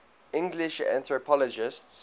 english anthropologists